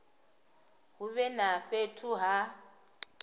hu vhe na fhethu ha